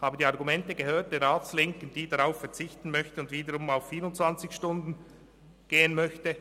Ich habe die Argumente der Ratslinken gehört, die darauf verzichten und wiederum auf 24 Stunden gehen möchte.